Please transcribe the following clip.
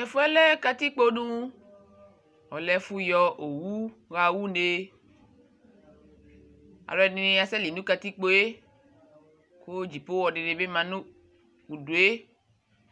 Tɛfu yɛ lɛ katikpo du Ɔlɛ ɛfu yɔ owu ɣa une Alu ɛdini asɛ li nu katikpo yɛ ku ɛkutɛ viava dini bi ma nu udu yɛ